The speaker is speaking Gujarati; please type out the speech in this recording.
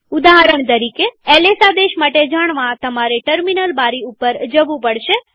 ઉદાહરણ તરીકેls આદેશ માટે જાણવાતમારે ટર્મિનલ બારી ઉપર જવું પડશે